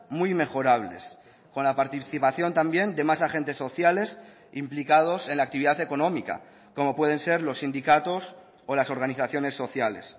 muy mejorables con la participación también de más agentes sociales implicados en la actividad económica como pueden ser los sindicatos o las organizaciones sociales